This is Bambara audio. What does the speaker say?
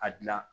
A dilan